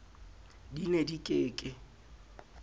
di ne di ke ke